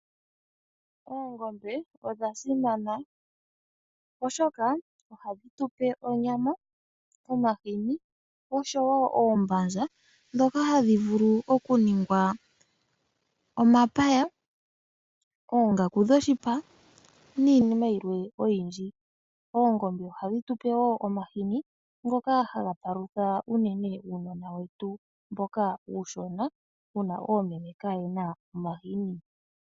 Oongombe odha simana oshoka ohadhi tupe onyama, omahini oshowo oombanza ndhika hadhi vulu oku ningwa omapaya, oongaku dhoshipa niinima yilwe oyindji. Oongombe ohadhi tupe wo omahini ngoka haga palutha uunona uushona mboka woomeme kaaye na omahini.